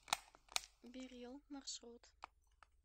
берилл маршрут